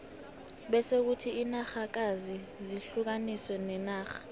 bese kuthi inarhakazi zihlukaniswe ngenarha